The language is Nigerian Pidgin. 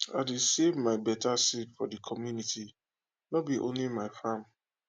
i dey save my better seed for de community nor be only my farm